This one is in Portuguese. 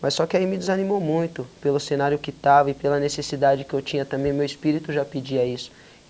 Mas só que aí me desanimou muito pelo cenário que estava e pela necessidade que eu tinha também, meu espírito já pedia isso.